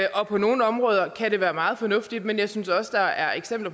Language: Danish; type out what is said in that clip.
på nogle områder kan det være meget fornuftigt men jeg synes også der er